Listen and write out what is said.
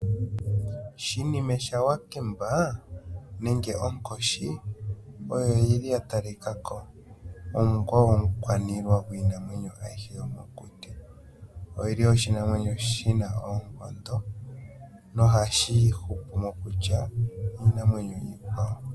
Shinime shawakemba nenge onkoshi oyo yili ya talika ko onga omukwaniilwa gwiinamwenyo ayihe yomokuti, oyili oshinamwenyo shina oonkondo noha shi hupu mokulya iinamwenyo iikwawo.